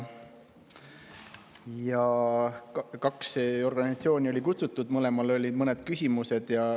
Kaks organisatsiooni olid kutsutud, mõlemale olid mõned küsimused.